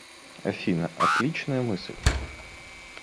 афина отличная мысль